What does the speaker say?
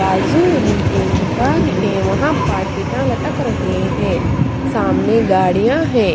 बाज़ू में भी एक दुकान हैं वहां पाकेटा लटक रहे हैं सामने गाड़िया हैं।